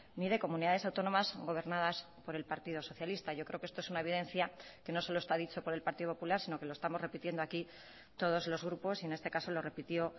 ni de comunidades autónomas gobernadas por el partido socialista yo creo que esto es una evidencia que no solo está dicho por el partido popular sino que lo estamos repitiendo aquí todos los grupos y en este caso lo repitió